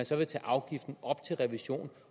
så vil tage afgiften op til revision